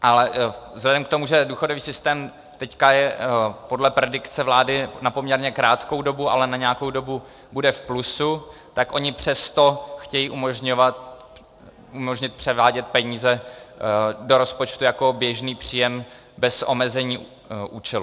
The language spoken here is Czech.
Ale vzhledem k tomu, že důchodový systém je teď podle predikce vlády na poměrně krátkou dobu, ale na nějakou dobu bude v plusu, tak oni přesto chtějí umožnit převádět peníze do rozpočtu jako běžný příjem bez omezení účelu.